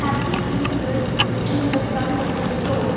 happy new year is written in the front of the store.